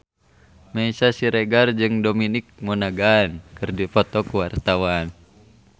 Meisya Siregar jeung Dominic Monaghan keur dipoto ku wartawan